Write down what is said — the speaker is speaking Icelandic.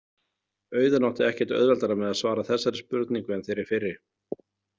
Auðunn átti ekkert auðveldara með að svara þessari spurningu en þeirri fyrri.